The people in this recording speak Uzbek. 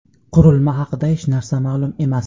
Qurilma haqida hech narsa ma’lum emas.